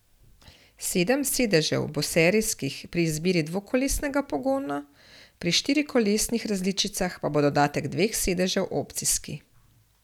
Sedem sedežev bo serijskih pri izbiri dvokolesnega pogona, pri štirikolesnih različicah pa bo dodatek dveh sedežev opcijski.